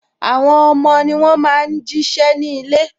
Àwọn ọmọ ni wọn máa ń jí ṣẹ́ ní ilé